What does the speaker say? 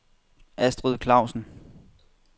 Astrid Clausen